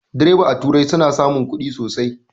Direbobi a turai suna samun ƙudi sosai